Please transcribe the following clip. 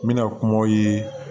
N bɛna kumaw ye